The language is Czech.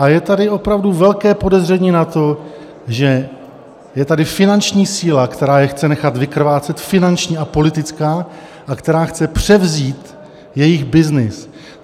A je tady opravdu velké podezření na to, že je tady finanční síla, která je chce nechat vykrvácet, finanční a politická, a která chce převzít jejich byznys.